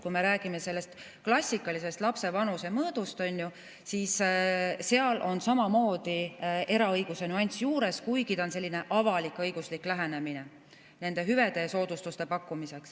Kui me räägime klassikalisest lapse vanuse mõõdust, siis seal on samamoodi eraõiguse nüanss juures, kuigi see on selline avalik-õiguslik lähenemine nende hüvede ja soodustuste pakkumisel.